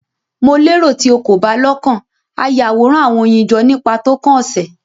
Mo lero ti o ko ba lokan a Yaworan awọn oyin jọ nipa tókàn ose